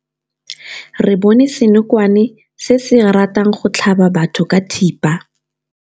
Re bone senokwane se se ratang go tlhaba batho ka thipa.